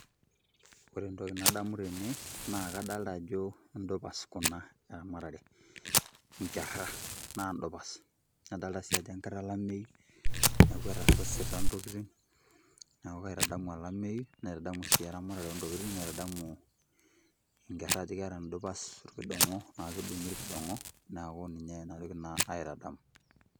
Ore entoki nadamu tene, naa kadalta ajo idupas kuna, eramatare. Inkerra. Na dupas. Nadalta si ajo enkata alameyu, neeku etasasita ntokiting. Neeku kaitadamu olameyu, naitadamu si eramatare ontokiting, naitadamu inkerra ajo keeta idupas irkidong'o, ekidung'i irkidong'o, neeku ninye enatoki naitadamu.